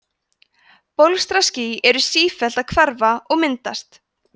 bólstraský eru sífellt að hverfa og myndast